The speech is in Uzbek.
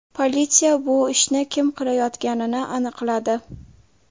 Politsiya bu ishni kim qilayotganini aniqladi.